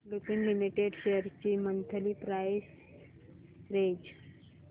Lupin limited shares ची monthly price range